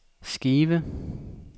skive